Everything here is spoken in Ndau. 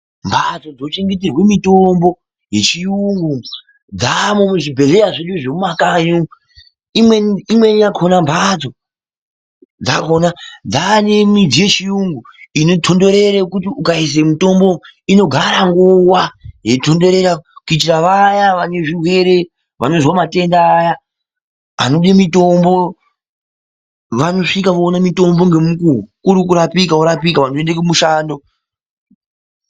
Mhatso dzinochengeterwa mitombo yechiyungu dzaamwo muzvibhedhlera zvedu zokumakayo. Imweni yakona mhatso dzava nemichini yechiyungu inotodorero kuti ukaisa mitombo inogara nguva yeitodorera kuitira vaya vane zvirwere, vanozwa matenda anode mitombo. Vanosvike voona mitombo kuri kuti worapike woende kumishando.